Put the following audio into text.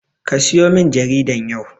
Kasiyo min jaridan yau.